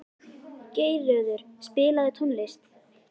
Geirröður, spilaðu tónlist.